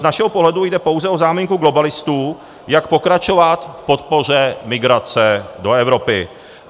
Z našeho pohledu jde pouze o záminku globalistů, jak pokračovat v podpoře migrace do Evropy.